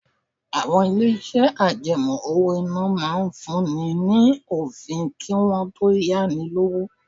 Àwọn ilé-iṣẹ́ àjẹmọ́ owó-ìná máa ń fún ni ní òfin kí wọ́n tó yá ni lówó.